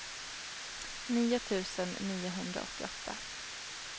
nio tusen niohundraåttioåtta